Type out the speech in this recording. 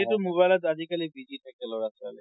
যিহেতু mobile ত আজিকালি busy থাকে লৰা ছোৱালী।